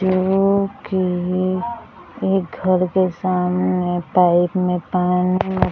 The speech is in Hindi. जो की एक घर के सामने पाइप में पानी --